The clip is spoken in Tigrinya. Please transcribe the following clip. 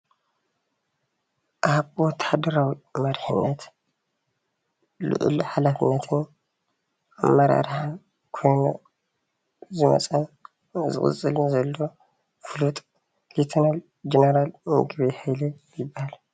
ኣብ ወታሃደራዊ መሪሕነት ሉዑል ሓላፍነትን ኣመራርሓን ኾይኑ ዝመፀን ዝቅፅልን ዘሎ ፍሉጥ ሌተናል ጀነራል ምግበይ ሃይለ ይበሃል።